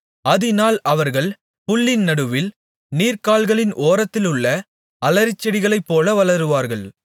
அதினால் அவர்கள் புல்லின் நடுவே நீர்க்கால்களின் ஓரத்திலுள்ள அலரிச்செடிகளைப்போல வளருவார்கள்